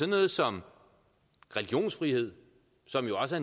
noget som religionsfrihed som jo også